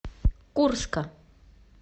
курска